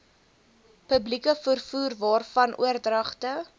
publieke vervoerwaarvan oordragte